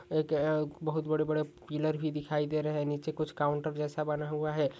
एक बहुत बड़े बड़े पिलर भी दिखाई दे रहे है नीचे कुछ काउन्टर जेसा बना हुआ है।